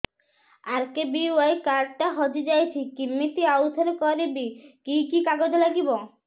RKBY card ଟା ହଜିଯାଇଛି କିମିତି ଆଉଥରେ କରିବି କି କି କାଗଜ ଲାଗିବ